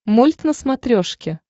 мульт на смотрешке